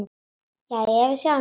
Jæja, við sjáumst þá.